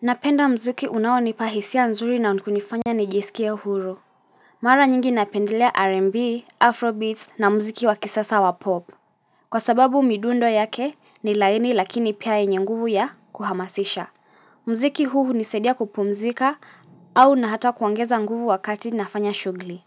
Napenda mzuki unaonipahisia nzuri na unkunifanya nijisikia huru Mara nyingi napendelea R&B, Afro Beats na mziki wakisasa wa pop Kwa sababu midundo yake ni laini lakini pia yenye nguvu ya kuhamasisha Mziki huu huniisadia kupumzika au na hata kuongeza nguvu wakati nafanya shughli